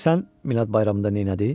Bilirsən Minad bayramında nəylədi?